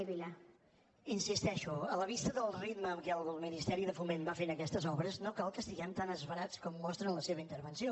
hi insisteixo a la vista del ritme amb què el ministeri de foment va fent aquestes obres no cal que estiguem tan esverats com mostra en la seva intervenció